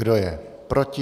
Kdo je proti?